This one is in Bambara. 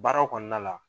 Baara kɔnɔna la